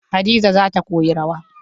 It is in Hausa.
Hadiza za koyi rawar.